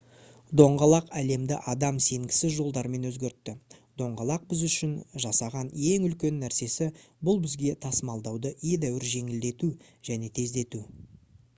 доңғалақ әлемді адам сенгісіз жолдармен өзгертті доңғалақ біз үшін жасаған ең үлкен нәрсесі бұл бізге тасымалдауды едәуір жеңілдету және тездету